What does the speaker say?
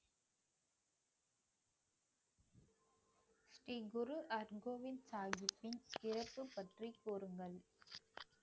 ஸ்ரீ குரு ஹர்கோவிந்த் சாஹிப்பின் பிறப்பு பற்றிக் கூறுங்கள்